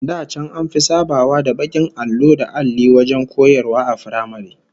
Da can an fi sabawa da bakin allo da alli wajen koyarwa a firamare